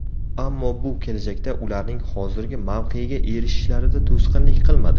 Ammo bu kelajakda ularning hozirgi mavqega erishishlarida to‘sqinlik qilmadi.